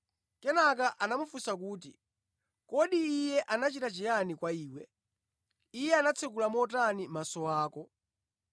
Kenaka anamufunsa kuti, “Kodi Iye anachita chiyani kwa iwe? Iye anatsekula motani maso ako?”